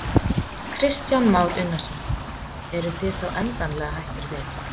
Kristján Már Unnarsson: Eruð þið þá endanlega hættir við?